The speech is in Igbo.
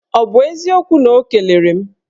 Ọ bụ eziokwu na o kelere m?